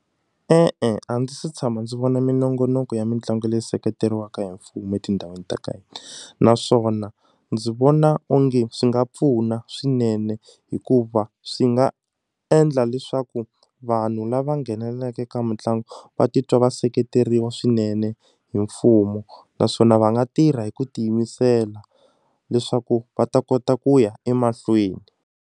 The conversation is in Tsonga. E-e, a ndzi se tshama ndzi vona minongonoko ya mitlangu leyi seketeriweka hi mfumu etindhawini ta ka hina naswona ndzi vona onge swi nga pfuna swinene hikuva swi nga endla leswaku vanhu lava nghenelelaka ka mitlangu va titwa va seketeriwa swinene hi mfumo naswona va nga tirha hi ku tiyimisela leswaku va ta kota ku ya emahlweni.